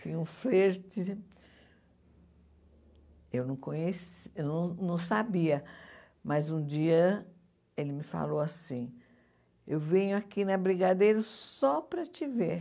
Tinha um flerte... Eu não conheci não não sabia, mas um dia ele me falou assim, eu venho aqui na Brigadeiro só para te ver.